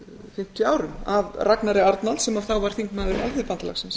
fimmtíu árum af ragnari arnalds sem þá var þingmaður alþýðubandalagsins